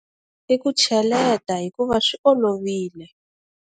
I ku cheleta hikuva swi olovile.